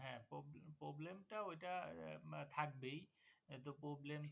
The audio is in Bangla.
Problem টা ঐ টা থাকবেই কিন্তু Problem